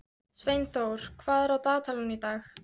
Sveinþór, hvað er á dagatalinu í dag?